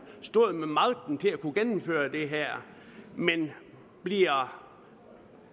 stod med magten til at kunne gennemføre det her men bliver